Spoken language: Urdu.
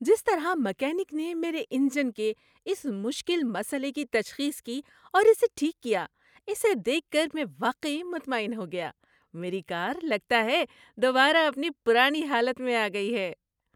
جس طرح میکینک نے میرے انجن کے اس مشکل مسئلے کی تشخیص کی اور اسے ٹھیک کیا اسے دیکھ کر میں واقعی مطمئن ہو گیا۔ میری کار لگتا ہے دوبارہ اپنی پرانی حالت میں آ گئی ہے۔